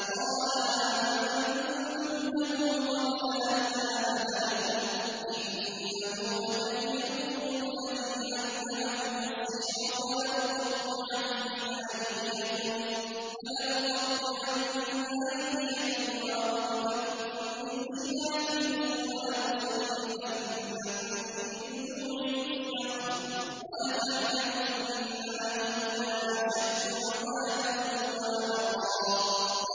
قَالَ آمَنتُمْ لَهُ قَبْلَ أَنْ آذَنَ لَكُمْ ۖ إِنَّهُ لَكَبِيرُكُمُ الَّذِي عَلَّمَكُمُ السِّحْرَ ۖ فَلَأُقَطِّعَنَّ أَيْدِيَكُمْ وَأَرْجُلَكُم مِّنْ خِلَافٍ وَلَأُصَلِّبَنَّكُمْ فِي جُذُوعِ النَّخْلِ وَلَتَعْلَمُنَّ أَيُّنَا أَشَدُّ عَذَابًا وَأَبْقَىٰ